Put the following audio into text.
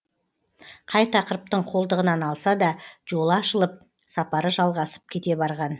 қай тақырыптың қолтығынан алса да жолы ашылып сапары жалғасып кете барған